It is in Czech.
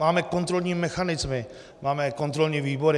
Máme kontrolní mechanismy, máme kontrolní výbory.